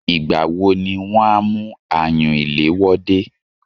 Ìgbà wo ni wọn a mú ayùn ìléwọ́ dé?